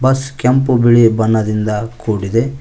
Bus ಕೆಂಪು ಬಿಳಿ ಬಣ್ಣದಿಂದ ಕೂಡಿದೆ.